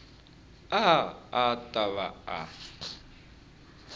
a a ta va a